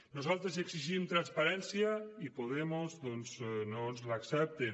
nosaltres exigim transparència i podemos doncs no ens l’accepten